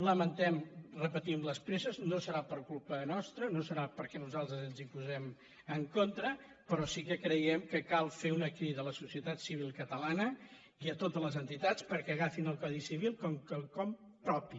lamentem ho repetim les presses no serà per culpa nostra no serà perquè nosaltres ens hi posem en contra però sí que creiem que cal fer una crida a la societat civil catalana i a totes les entitats perquè agafin el codi civil com quelcom propi